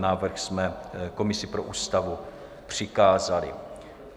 Návrh jsme komisi pro Ústavu přikázali.